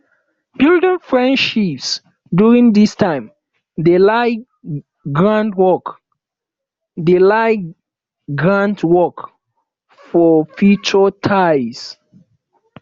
building friendships during dis time dey lay groundwork dey lay groundwork for future ties